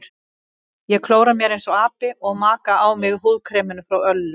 Ég klóra mér einsog api og maka á mig húðkreminu frá Öllu.